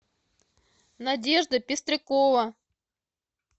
надежда пестрякова